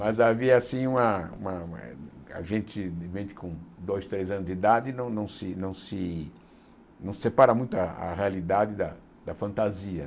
Mas havia assim uma uma... A gente, com dois, três anos de idade, não não se não se não se separa muito a a realidade da fantasia.